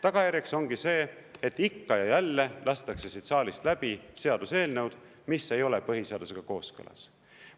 Tagajärjeks on see, et ikka ja jälle lastakse siit saalist läbi seaduseelnõu, mis ei ole põhiseadusega kooskõlas.